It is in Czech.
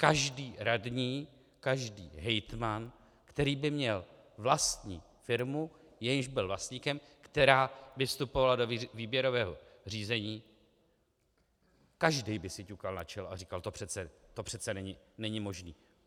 Každý radní, každý hejtman, který by měl vlastní firmu, jejímž byl vlastníkem, která by vstupovala do výběrového řízení, každý by si ťukal na čelo a říkal: To přece není možný!